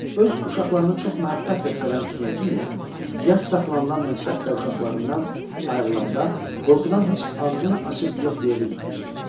Öz uşaqlarını çox məhəbbətlə sevən Knyaginya, yas saxlanılan müddətdə uşaqlarından ayrılanda qorxudan heç ağzını açıb yox deyə bilməmişdi.